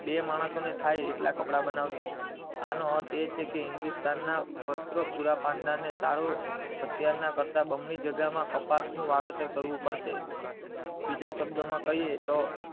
બે માણસો ને થાય એટલા કપડાં બનાવશે એનો અર્થ એ છે કે હિન્દુસ્તાન ના વસ્ત્રો પુરા પાડનાર ને સારું અત્યાર કરતા બમણી જગ્યામાં કપાસ નું વાવેતર કરવું પડશે બીજા શબ્દ માં કહીયે તો